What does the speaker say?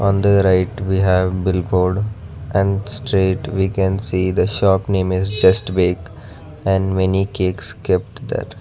on the right we have bill board and straight we can see the shop name is just back and many cakes kept there.